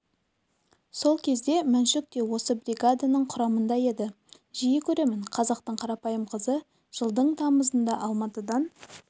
сол кезде мәншүк те осы бригаданың құрамында еді жиі көремін қазақтың қарапайым қызы жылдың тамызында алматыдан